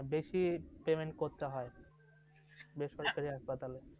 মানে বেশি payment করতে হয় সরকারি hospital এ